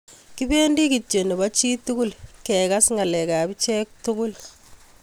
Kipendii kityoo nepoo chitugul kekas ngalek ap icheek tugul